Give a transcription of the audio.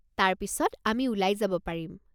তাৰ পিছত আমি ওলাই যাব পাৰিম।